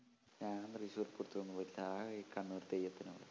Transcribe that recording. ഞാൻ തൃശൂർ പൂരത്തിനൊന്നും പോയിട്ടില്ല ആകെ ഈ കണ്ണൂർ തെയ്യത്തിനു മാത്രം